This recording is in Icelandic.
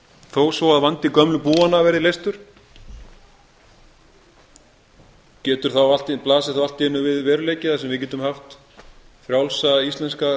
þó svo að vandi gömlu búanna verði leystur blasir þá allt í einu við veruleiki á sem við getum haft frjálsa íslenska